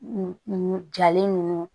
N jalen nunnu